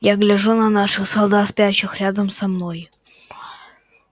я гляжу на наших солдат спящих рядом со мной